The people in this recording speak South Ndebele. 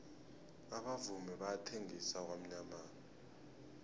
abavumi bayathengisa kwamyamana